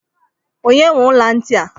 Onye nwe ọla ntị a?